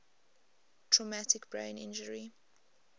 traumatic brain injury